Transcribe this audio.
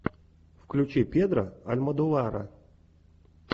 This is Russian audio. включи педро альмодовара